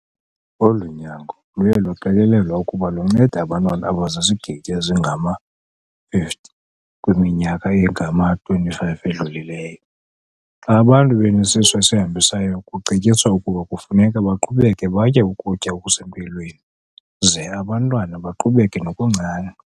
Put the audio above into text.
Olu nyango luye lwaqikelelwa ukuba luncede abantwana abazizigidi ezingama-50 kwiminyaka engama-25 edlulileyo. Xa abantu benesisu esihambisayo kucetyiswa ukuba kufuneka baqhubeke batye ukutya okusempilweni ze abantwana baqhubeke nokuncanca.